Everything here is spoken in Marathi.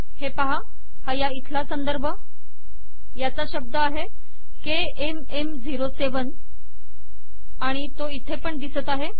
हे पाहा हा या इथला संदर्भ याचा शब्द आहे केएमएम07 आणि तो इथे पण दिसत आहे